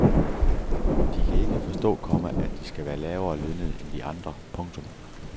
De kan ikke forstå, komma at de skal være lavere lønnede end de andre. punktum